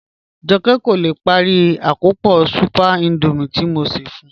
Jọkẹ kò lè pári àkọ́pọ̀ súpẹ̀r Índọ́míẹ̀ tí mò ṣẹ́ fún ù